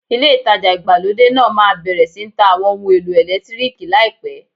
Ilé ìtajà ìgbàlódé náà máa bẹ̀rẹ̀ sí ń ta Àwọn ohun èlò ẹ̀lẹ́tíríìkì láìpẹ́.